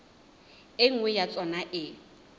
e nngwe ya tsona e